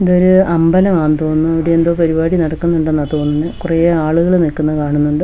ഇതൊരു അമ്പലമാന്ന് തോന്നുന്നു ഇവിടെ എന്തോ പരിപാടി നടക്കുന്നുണ്ടെന്നാ തോന്നുന്നെ കുറെ ആളുകള് നിക്കുന്ന കാണുന്നുണ്ട്.